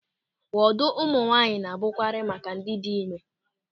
Wọdụ ụmụ nwaanyị na-abụkarị maka ndị dị ịme.